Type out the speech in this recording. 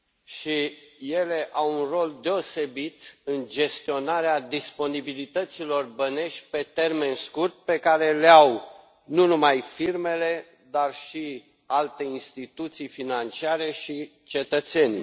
și ele au un rol deosebit în gestionarea disponibilităților bănești pe termen scurt pe care le au nu numai firmele, dar și alte instituții financiare și cetățenii.